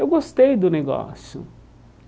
Eu gostei do negócio.